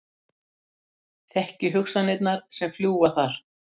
Þekki hugsanirnar sem fljúga þar.